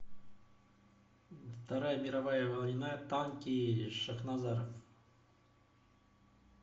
вторая мировая война танки шахназаров